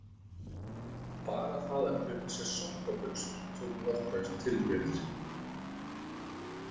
Bara það að kaupa sér sokkabuxur tók nokkrar tilraunir.